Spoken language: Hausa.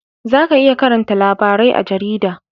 Za ka iya karanta labarai a jarida